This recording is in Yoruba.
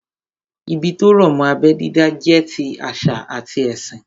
Ìdí tó rọ̀ mọ́ abẹ́ dídá jẹ́ ti àṣà àti ẹ̀sìn